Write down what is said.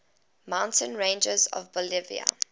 mountain ranges of bolivia